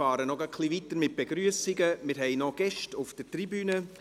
Nun fahren wir mit Begrüssungen gerade noch weiter, wir haben noch Gäste auf der Tribüne.